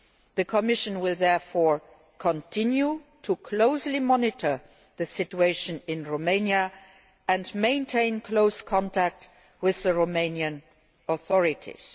The Commission will therefore continue to closely monitor the situation in Romania and maintain close contact with the Romanian authorities.